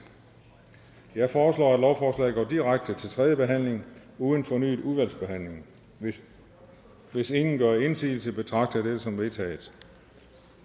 jeg foreslår at lovforslaget går direkte til tredje behandling uden fornyet udvalgsbehandling hvis hvis ingen gør indsigelse betragter jeg dette som vedtaget